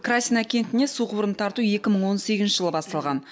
красина кентіне су құбырын тарту екі мың он сегізінші жылы басталған